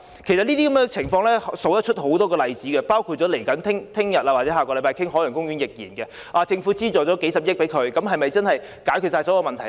這些情況還有很多例子，包括明天或下星期討論的海洋公園個案，政府提供數十億元的資助後，是否可以解決所有問題呢？